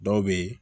Dɔw bɛ yen